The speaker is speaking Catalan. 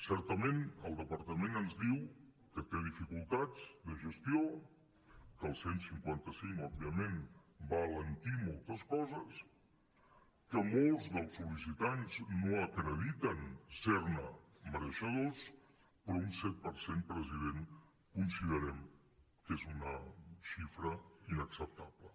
certament el departament ens diu que té dificultats de gestió que el cent i cinquanta cinc òbviament va alentir moltes coses que molts dels sol·licitants no acrediten ser ne mereixedors però un set per cent president considerem que és una xifra inacceptable